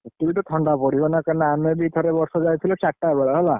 ଟିକେ ଟିକେ ଥଣ୍ଡା ପଡିବ ନା କାଇଁକି ନା ଆମେ ବି ଥରେ ବର୍ଷେ ଯାଇଥିଲେ ଚାରିଟା ବେଳେ ହେଲା।